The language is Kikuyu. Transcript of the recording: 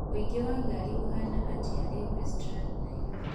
ũingĩ wa ngari ũhaana atĩa riu westlands nairobi